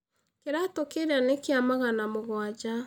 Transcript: Kĩratũ kĩrĩa nĩ kĩa magana mũgwanja.